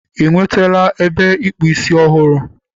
I nwetala ebe ịkpụ ísí ọhụrụ?